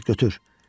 Al, götür.